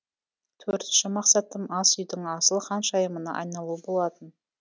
төртінші мақсатым ас үйдің асыл ханшайымына айналу болатын